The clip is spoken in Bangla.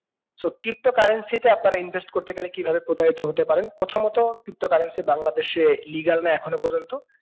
so crypto currency তে আপনারা invest করতে গেলে কি ভাবে প্রতারিত হতে পারেন প্রথমত crypto currency বাংলাদেশে legal না এখনো প্রজন্ত